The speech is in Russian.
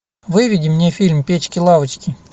выведи мне фильм печки лавочки